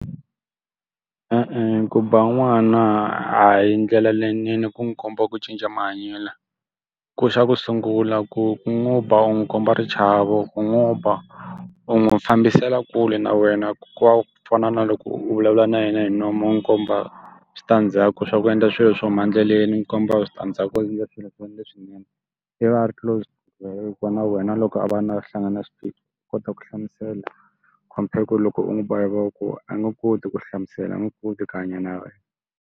E-e, ku ba n'wana a hi ndlela leyinene ku n'wi komba ku cinca mahanyelo. Ku xa ku sungula ku ku n'wi ba u n'wi komba xichavo, ku n'wi ba u n'wi fambisela kule na wena ku ka ku fana na loko u vulavula na yena hi nomu u n'wi komba switandzhaku swa ku endla swilo swo huma endleleni n'wi komba switandzhaku swo endla swilo leswi leswinene. I va a ri close va na wena. Loko a va na a hlangana swiphiqo u kota ku hlamusela compare ku loko u n'wi ba hi voko, a nge koti ku hlamusela, a nge koti ku hanya na wena.